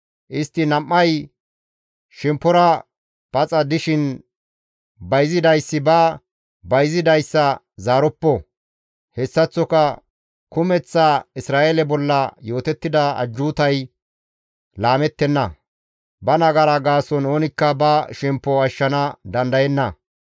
Istti nam7ay shemppora paxa dishin bayzidayssi ba bayzidayssa zaaroppo; hessaththoka kumeththa Isra7eele bolla yootettida ajjuutay laamettenna. Ba nagara gaason oonikka ba shemppo ashshana dandayenna.